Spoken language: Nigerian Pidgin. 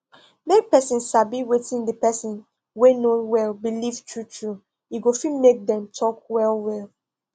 make person sabi wetin the person wey no well beleive true true e go fit make them talk well well